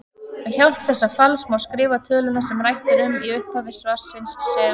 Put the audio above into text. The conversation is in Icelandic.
Með hjálp þessa falls má skrifa töluna sem rætt er um í upphafi svarsins sem